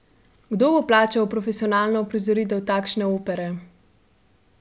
Kdo bo plačal profesionalno uprizoritev takšne opere?